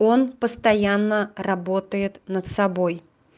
он постоянно работает над собой